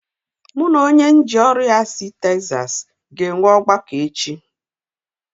M ga-enwe nzukọ ogbako na onye ahịa si Texas echi